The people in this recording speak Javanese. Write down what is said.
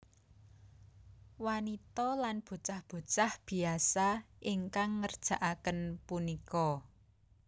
Wanita lan bocah bocah biasa ingkang ngerjakaken punika